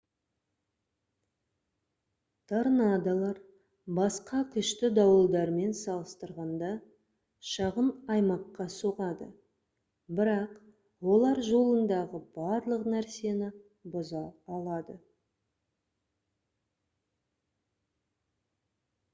торнадолар басқа күшті дауылдармен салыстырғанда шағын аймаққа соғады бірақ оларжолындағы барлық нәрсені бұза алады